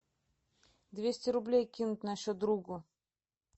двести рублей кинуть на счет другу